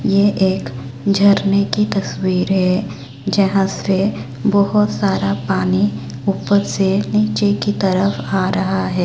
ये एक झरने की तस्वीर है जहां से बहोत सारा पानी ऊपर से नीचे की तरफ आ रहा है।